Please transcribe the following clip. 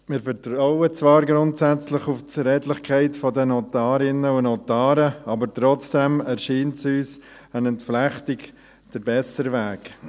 Wir vertrauen zwar grundsätzlich auf die Redlichkeit der Notarinnen und Notare, aber trotzdem erscheint uns eine Entflechtung der bessere Weg.